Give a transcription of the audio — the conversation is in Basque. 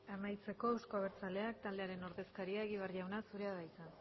amaitzeko euzko abertzaleak taldearen ordezkaria egibar jauna zurea da hitza